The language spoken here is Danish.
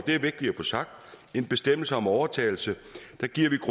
en bestemmelse om overtagelse